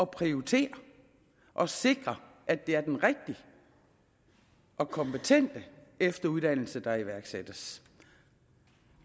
prioritere og sikre at det er den rigtige og kompetente efteruddannelse der iværksættes